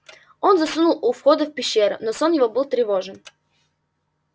он заснул у входа в пещеру но сон его был тревожен